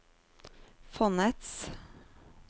fondets